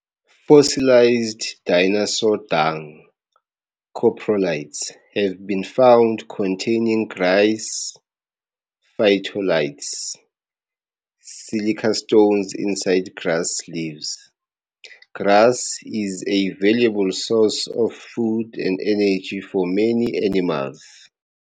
Fossilized dinosaur dung, coprolites, have been found containing grass phytoliths, silica stones inside grass leaves. Grass is a valuable source of food and energy for many animals.